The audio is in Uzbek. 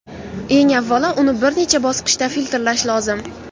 Eng avvalo, uni bir necha bosqichda filtrlash lozim.